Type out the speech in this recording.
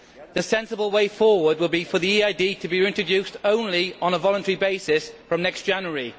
The sensible way forward would be for EID to be introduced only on a voluntary basis from next January.